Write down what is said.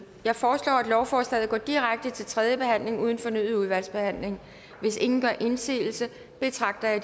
jeg foreslår at lovforslaget går direkte til tredje behandling uden fornyet udvalgsbehandling hvis ingen gør indsigelse betragter jeg